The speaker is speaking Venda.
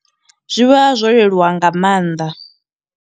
Zwi vha zwo leluwa nga mannḓa.